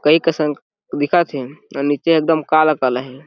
कई कसन दिखत हे अउ निचे एकदम काला काला हे।